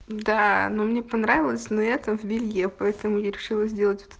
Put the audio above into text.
да но мне понравилось но я-то в белье поэтому я решила сделать